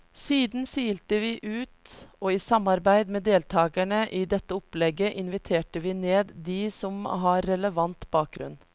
Siden silte vi ut, og i samarbeid med deltagerne i dette opplegget inviterte vi ned de som har relevant bakgrunn.